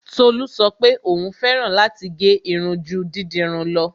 Tolú sọ pé òún fẹ́ràn láti gẹ́ irun ju dídirun lọ.